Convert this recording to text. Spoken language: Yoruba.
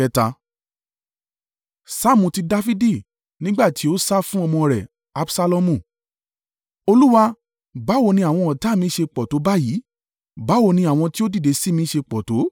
Saamu ti Dafidi. Nígbà ti ó sá fún ọmọ rẹ̀ Absalomu. Olúwa, báwo ni àwọn ọ̀tá mi ṣe pọ̀ tó báyìí! Báwo ni àwọn ti ó dìde sí mi ṣe pọ̀ tó!